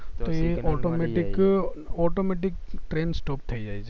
તો એ automatic automatic train stop થય જાય